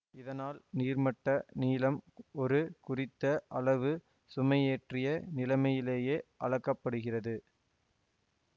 இதனால் நீர்மட்ட நீளம் ஒரு குறித்த அளவு சுமையேற்றிய நிலையிலேயே அளக்க படுகிறது